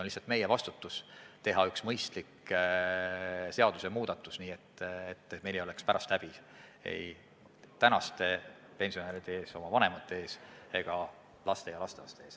Nüüd on meie ülesanne teha üks mõistlik seadusmuudatus, nii et meil ei oleks pärast häbi ei praeguste pensionäride ees ehk oma vanemate ees ega ka oma laste ja lastelaste ees.